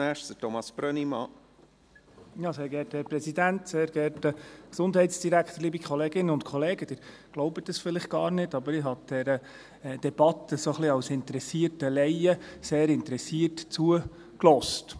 Sie glauben es vielleicht gar nicht, aber ich habe dieser Debatte ein wenig als interessierter Laie sehr interessiert zugehört.